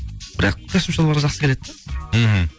бірақ костюм шалбарға жақсы келеді да мхм